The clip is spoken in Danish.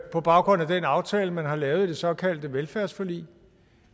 på baggrund af den aftale man har lavet i det såkaldte velfærdsforlig